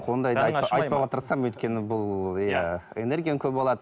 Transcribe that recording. айтпауға тырысамын өйткені бұл иә энергияны көп алады